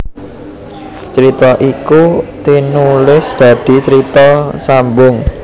Crita iku tinulis dadi carita sambung